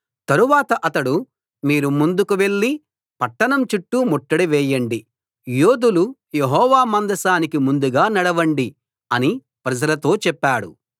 తరువాత అతడు మీరు ముందుకు వెళ్ళి పట్టణం చుట్టూ ముట్టడి వేయండి యోధులు యెహోవా మందసానికి ముందుగా నడవండి అని ప్రజలతో చెప్పాడు